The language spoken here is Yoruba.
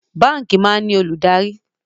Báńkì máa ń ní olùdarí